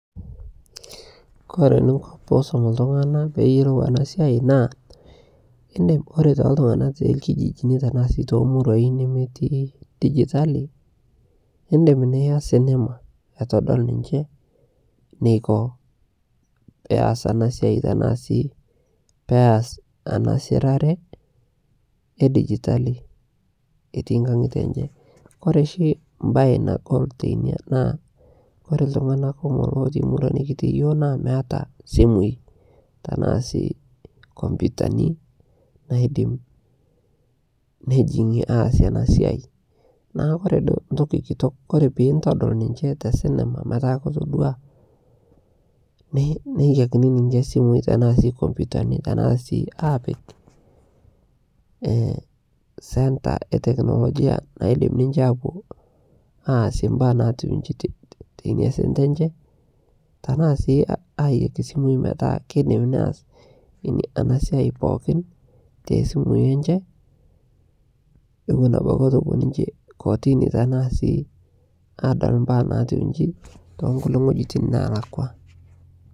kore ninkoo piisom ltungana peeyolou ana siai naa indim ore te ltungana te lkijijini tanaa sii to moruai nemetii digitalii indim niaz anema aitodol ninshe neiko peas anaa siai tanaa sii peas ana sirare e digitalii etii nkangite enshe kore shi mbai nagol teinia naa kore ltungana kumolk lotii murua nikitii naa meata simui tanaa sii kompitani naidim nejingie aasie ana siai naaku kore duo ntoki kitok kore pintodol ninshe te sinima metaa kotodua neyakini ninshe simui tanaa sii kompitani tanaa sii apik center ee teknologia naidim ninshe apuo aasie mbaa naatiu inshi teinia center enshe tanaa sii ayaki simui metaa keidim neaz ana siai pookin te simui enshe ewon abaki etuu epuo ninshe kotinii tanaa sii adol mbaa natiu inshii tonkulie ngojitin nalakwaa